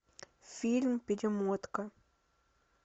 фильм перемотка